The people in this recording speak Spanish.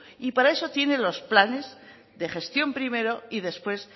y para eso tiene los planes de gestión primero y después